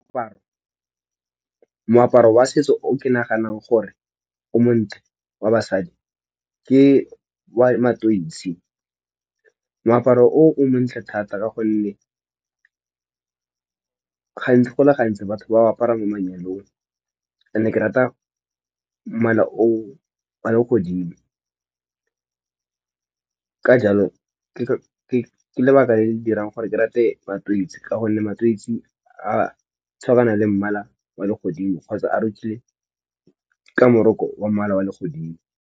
Diaparo moaparo wa setso o ke naganang gore o montle wa basadi ke wa matweetsi moaparo o montle thata, ka gonne gantsi go le gantsi batho ba ba apara mo manyalong ne ke rata mala o a le godimo ka jalo ke lebaka le le dirang gore ke rate matweetsi ka gonne matweetsi a tshwarana le mmala wa legodimo kgotsa a rokilwe ka moroko wa mmala wa legodimo.